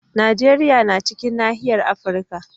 Najeriya na cikin nahiyar Afirka.